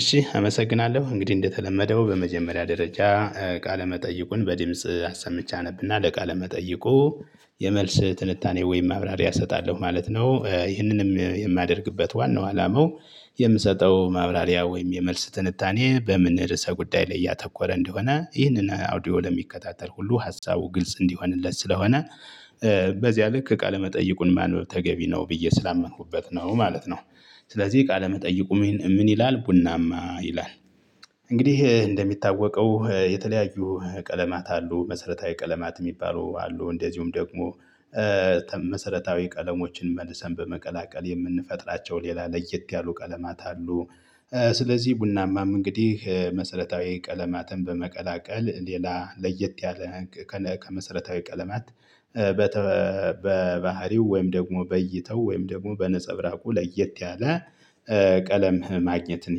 እሺ አመሰግናለሁ እንግዲህ እንደተለመደው በመጀመሪያ ደረጃ ቃለ መጠይቁን በድምጽ አሰምቼ አነብና ለቃለ ለመጠየቁ የመልስ ትንታኔ ወይም ማብራሪያ እሰጣለሁ ማለት ነው ይህንንም የማያደርግበት ዋናው አላማው የምሰጠው ማብራሪያ ወይም የመልስ ትንታኔ በምን ርዕሰ ጉዳይ ላይ ያተኮረ እንደሆነ ይህንን አውዲዮ ለሚከታተል ሁሉ ሀሳቡ ግልጽ እንዲሆንለት ስለሆነ በዚያ ልክ ቃለመጠይቁን ማንበብ ተገቢ ነው ብዬ ስላመንኩበት ነው ማለት ነው። ስለዚህ ቃለመጠይቁም ምን ይላል ቡናማ ይላል? እንግዲህ እንደሚታወቀው የተለያዩ ቀለማት አሉ መሰረታዊ ቀለማት የሚባሉ አሉ እንደዚሁም ደግሞ መሰረታዊ ቀለሞችን መልሰን በመቀላቀል የምንፈጥራቸው ሌላ ለየት ያሉ ቀለማት አሉ። ስለዚህ ቡናማም እንግዲህ መሰረታዊ ቀለማትን በመቀላቀል ሌላ ለየት ያለ ከመሰረታዊ ቀለማት በተ በባህሪው ወይም ደግሞ በእይታው ወይም ደግሞ በነፀብራቁ ለየት ያለ ቀለም ማግኘትን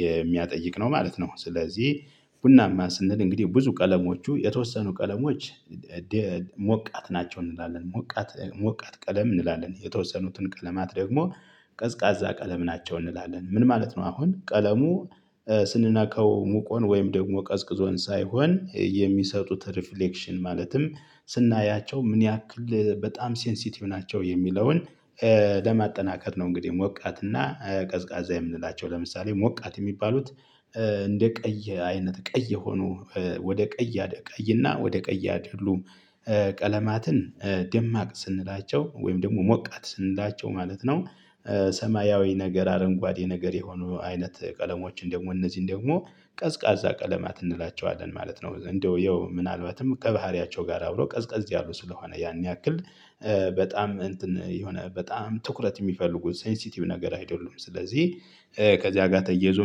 የሚያጠይቅ ነው ማለት ነው። ስለዚህ ቡናማ ስንል እንግዲህ ብዙ ቀለሞቹ የተወሰኑ ቀለሞች ሞቃት ናቸው እንላለን ሞቃት ሞቃት ቀለም እንላለን የተወሰኑትን ቀለማት ደግሞ ቀዝቃዛ ቀለም ናቸው። እንላለን ምን ማለት ነው? አሁን ቀለሙ ስንነካው ሞቆን ወይም ደግሞ ቀዝቅዞን ሳይሆን የሚሰጡት ሪፍሌክሽን ማለትም ስናያቸው ምን ያክል በጣም ሴንሲቲቭ ናቸው የሚለውን ለማጠናከር ነው። እንግዲህ ሞቃት እና ቀዝቃዛ የምንላቸው ለምሳሌ ሞቃት የሚባሉት እንደ ቀይ አይነት ቀይ ሆኖ ወደ ቀይ አደ ቀይ እና ወደ ቀይ ያደሉ ቀለማትን ደማቅ ስንላቸው ወይም ደግሞ ሞቃት ስንላቸው ማለት ነው። ሰማያዊ ነገር አረንጓዴ ነገር የሆኑ አይነት ቀለሞችን ደግሞ እነዚህን ደግሞ ቀዝቃዛ ቀለማት እንላቸዋለን ማለት ነው። እንደው ያው ምናልባትም ከባህሪያቸው ጋር አብሮ ቀዝቀዝ ያሉ ስለሆነ ያን ያክል በጣም እንትን የሆነ በጣም ትኩረት የሚፈልጉ ሴንሲቲቭ ነገር አይደሉም። ስለዚህ ከዚያ ጋር ተያያዞ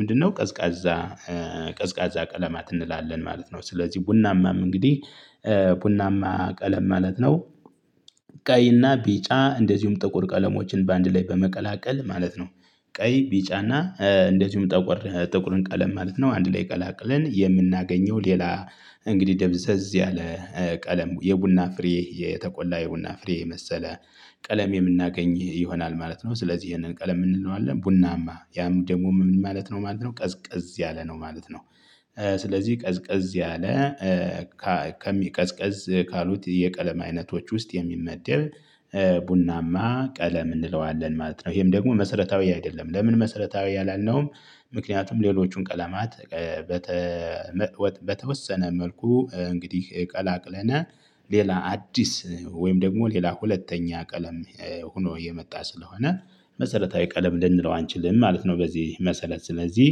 ምንድነው? ቀዝቃዛ ቀዝቃዛ ቀለማት እንላለን ማለት ነው። ስለዚህ ቡናማም እንግዲህ ቡናማ ቀለም ማለት ነው። ቀይና ቢጫ እንደዚሁም ጥቁር ቀለሞችን በአንድ ላይ በመቀላቀል ማለት ነው። ቀይ ቢጫና እንደዚሁም ጠቆር ጥቁርን ቀለም ማለት ነው። አንድ ላይ ቀላቅለን የምናገኘው ሌላ እንግዲህ ደብዘዝ ያለ ቀለም የቡና ፍሬ የተቆላ የቡና ፍሬ የመሰለ ቀለም የምናገኝ ይሆናል ማለት ነው። ስለዚህ ይሄንን ቀለም ምን እንለዋለን? ቡናማ ያም ደግሞ ምን ማለት ነው ማለት ነው። ቀዝቀዝ ያለ ነው ማለት ነው ስለዚህ ቀዝቀዝ ያለ ከሚ ቀዝቀዝ ካሉት የቀለም አይነቶች ውስጥ የሚመደብ ቡናማ ቀለም እንለዋለን ማለት ነው። ይሄም ደግሞ መሰረታዊ አይደለም ለምን መሰረታዊ አላልነውም? ምክንያቱም ሌሎቹን ቀለማት በተወሰነ መልኩ እንግዲህ ቀላቅለን ሌላ አዲስ ወይም ደግሞ ሌላ ሁለተኛ ቀለም ሆኖ እየመጣ ስለሆነ መሰረታዊ ቀለም ልንለው አንችልም ማለት ነው። በዚህ መሰረት ስለዚህ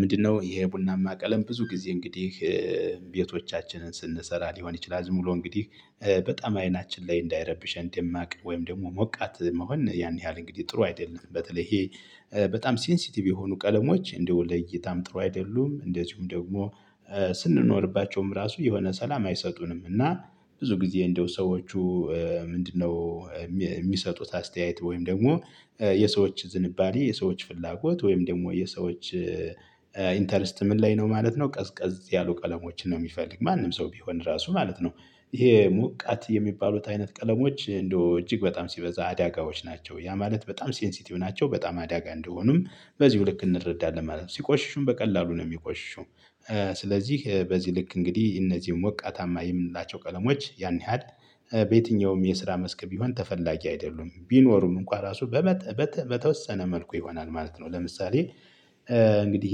ምንድነው? ይሄ ቡናማ ቀለም ብዙ ጊዜ እንግዲህ ቤቶቻችንን ስንሰራ ሊሆን ይችላል ዝም ብሎ እንግዲህ በጣም አይናችን ላይ እንዳይረብሸን ደማቅ ወይም ደግሞ ሞቃት መሆን ያን ያህል እንግዲህ ጥሩ አይደለም። በተለይ ይሄ በጣም ሴንሲቲቭ የሆኑ ቀለሞች እንደ ለእይታም ጥሩ አይደሉም እንደዚሁም ደግሞ ስንኖርባቸውም ራሱ የሆነ ሰላም አይሰጡንም። እና ብዙ ጊዜ እንደው ሰዎቹ ምንድነው? የሚሰጡት አስተያየት ወይም ደግሞ የሰዎች ዝንባሌ የሰዎች ፍላጎት ወይም ደግሞ የሰዎች ኢንተረስት ምን ላይ ነው ማለት ነው። ቀዝቀዝ ያሉ ቀለሞችን ነው የሚፈልግ ማንም ሰው ቢሆን ራሱ ማለት ነው። ይሄ ሞቃት የሚባሉት አይነት ቀለሞች እንደው እጅግ በጣም ሲበዛ አዳጋዎች ናቸው ያ ማለት በጣም ሴንሲቲቭ ናቸው በጣም አዳጋ እንደሆኑም በዚህው ልክ እንረዳለን ማለት ነው። ሲቆሽሹም በቀላሉ ነው የሚቆሽሹ። ስለዚህ በዚህ ልክ እንግዲህ እነዚህው ሞታማ የምንላቸው ቀለሞች ያን ያህል በየትኛውም የስራ መስክ ቢሆን ተፈላጊ አይደሉም ቢኖሩም እንኳን ራሱ በተወሰነ መልኩ ይሆናል ማለት ነው። ለምሳሌ እንግዲህ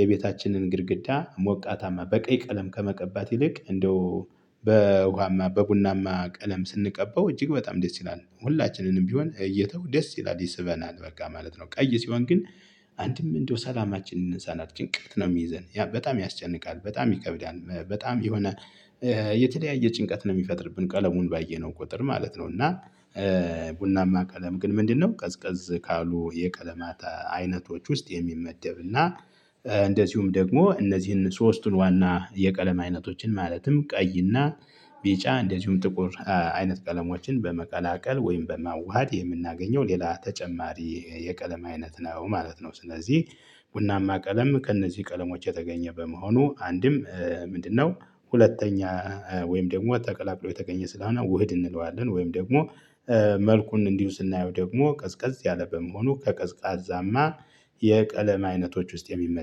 የቤታችንን ግድግዳ ሞቃታማ በቀይ ቀለም ከመቀባት ይልቅ እንደው በውሃማ በቡናማ ቀለም ስንቀበው እጅግ በጣም ደስ ይላል ሁላችንንም ቢሆን እይታው ደስ ይላል ይስበናል በቃ ማለት ነው። ቀይ ሲሆን ግን አንድም እንደው ሰላማችንን ይነሳናል ጭንቀት ነው የሚይዘን ያ በጣም ያስጨንቃል በጣም ይከብዳል በጣም የሆነ የተለያየ ጭንቀት ነው የሚፈጥርብን ቀለሙን ባየነው ቁጥር ማለት ነው። እና ቡናማ ቀለም ግን ምንድነው? ቀዝቀዝ ካሉ የቀለማት አይነቶች ውስጥ የሚመደብና እንደዚሁም ደግሞ እነዚህን ሶስቱን ዋና የቀለም አይነቶችን ማለትም ቀይና ቢጫ እንደዚሁም ጥቁር አይነት ቀለሞችን በመቀላቀል ወይም በማዋሃድ የምናገኘው ሌላ ተጨማሪ የቀለም አይነት ነው ማለት ነው። ስለዚህ ቡናማ ቀለም ከእነዚህ ቀለሞች የተገኘ በመሆኑ አንድም ምንድነው ሁለተኛ ወይም ደግሞ ጠቅላቅሎ የተገኘ ስለሆነውህድ እንለዋለን ወይም ደግሞ መልኩን እንዲው ስናየው ደግሞ ቀዝቀዝ ያለ በመሆኑ ከቀዝቃዛማ የቀለም አይነቶች ውስጥ የሚመደብ